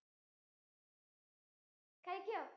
കഴിക്കോ?